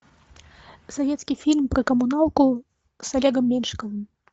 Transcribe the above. советский фильм про коммуналку с олегом меньшиковым